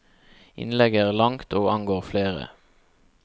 Innlegget er langt og angår flere.